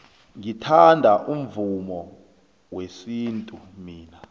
ngithanda umvumo wesintu mina